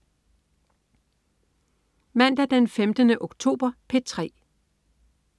Mandag den 15. oktober - P3: